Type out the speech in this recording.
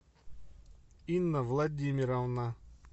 инна владимировна